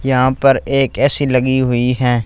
यहां पर एक ए_सी लगी हुई हैं।